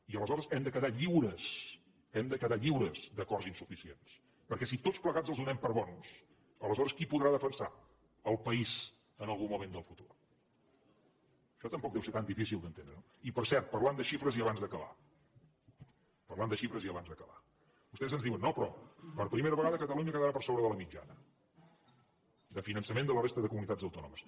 i aleshores hem de quedar lliures d’acords insuficients perquè si tots plegats els donem per bons aleshores qui podrà defensar el país en algun moment del futur això tampoc deu ser tan difícil d’entendre no i per cert parlant de xifres i abans d’acabar vostès ens diuen no però per primera vegada catalunya quedarà per sobre de la mitjana de finançament de la resta de comunitats autònomes